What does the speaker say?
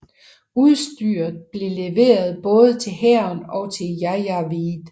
Udstyret blev leveret både til hæren og til janjaweed